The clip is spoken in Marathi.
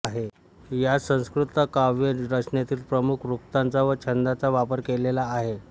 यात संस्कृत काव्य रचनेतील प्रमुख वृत्तांचा व छंदांचा वापर केलेला आहे